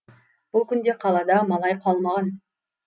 бұл күнде қалада малай қалмаған